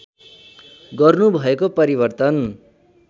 गर्नु भएको परिवर्तन